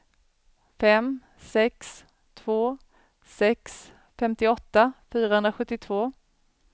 fem sex två sex femtioåtta fyrahundrasjuttiotvå